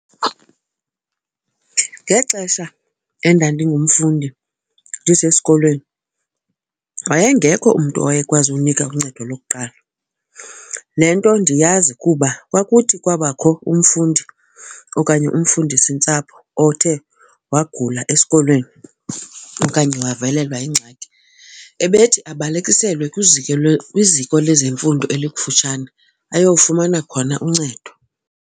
Ngexesha endandingumfundi ndisesikolweni wayengekho umntu owayekwazi unika uncedo lokuqala. Le nto ndiyazi kuba kwakuthi kwabakho umfundi okanye umfundisintsapho othe wagula esikolweni okanye wavelelwa yingxaki ebethi abalekiselwe kwiziko lezemfundo elikufutshane ayofumana khona uncedo.